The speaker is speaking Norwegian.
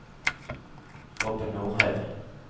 Robin Norheim